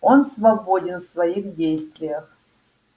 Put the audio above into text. он свободен в своих действиях